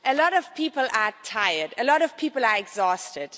A lot of people are tired a lot of people are exhausted.